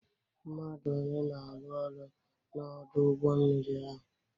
Mmadụ one na-arụ ọrụ na Ọdụ ụgbọ mmiri ahụ?